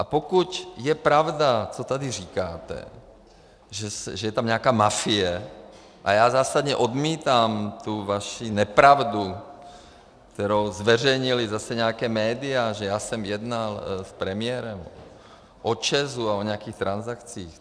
A pokud je pravda, co tady říkáte, že je tam nějaká mafie - a já zásadně odmítám tu vaši nepravdu, kterou zveřejnila zase nějaká média, že já jsem jednal s premiérem o ČEZu a o nějakých transakcích.